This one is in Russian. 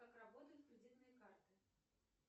как работают кредитные карты